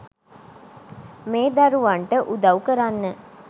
මේ දරුවන්ට උදවු කරන්න